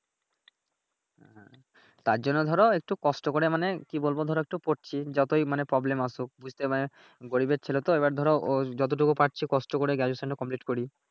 তার জন্য ধরো একটু কষ্ট করে মানে কি বলবো ধরো একটু পড়ছি যতই মানে প্রব্লেম আসুক বুঝতে মানি গরিবের ছেলে তো এইবার ধরো ও যতটুক পারছি কষ্ট করে Graduation complete করি